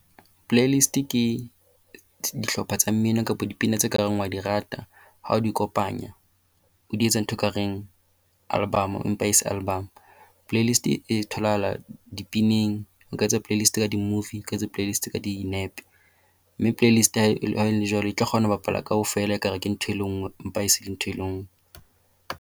Playlist ke dihlopha tsa mmino kapa dipina tseo o ka reng o a di rata ha o di kopanya. O di etsa ntho e kareng album empa e se album. Playlist e tholahala dipineng. O ka etsa playlist ka di-movie. O ka etsa playlist ka dinepe. Mme playlist ha e le jwalo e tla kgona ho bapala kaofela. Ekare ke ntho e le nngwe empa e se ntho e le nngwe.